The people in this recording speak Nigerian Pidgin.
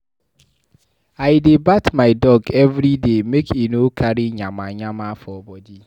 I dey bath my dog every day make e no carry yamayama for bodi.